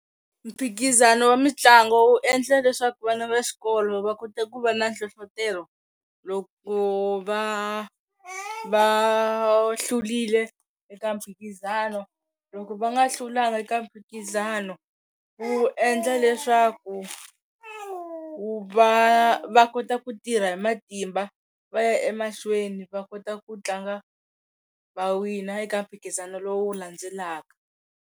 Mphikizano wa mitlangu wu endla leswaku vana va xikolo va kota ku va na nhlohlotelo loko va va hlurile eka mphikizano loko va nga hlulanga eka mphikizano ku endla leswaku ku va va kota ku tirha hi matimba va ya emahlweni va kota ku tlanga va wina eka mphikizano lowu landzelaka.